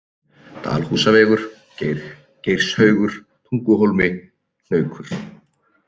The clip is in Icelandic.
Dalhúsavegur, Geirshaugur, Tunguhólmi, Hnaukur